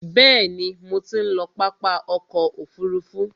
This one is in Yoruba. Bẹ̀ẹ̀ni, mo ti ń lọ pápá ọkò òfurufú.